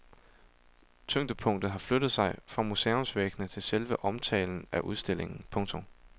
Tyngdepunktet har flyttet sig fra museumsvæggene til selve omtalen af udstillingen. punktum